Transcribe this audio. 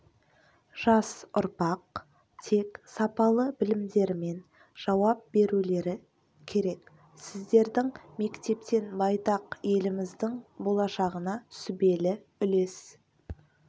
жас ұрпақ тек сапалы білімдерімен жауап берулері керек сіздердің мектептен байтақ еліміздің болашағына сүбелі үлес